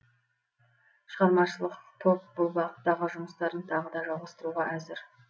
шығармашылық топ бұл бағыттағы жұмыстарын тағы да жалғастыруға әзір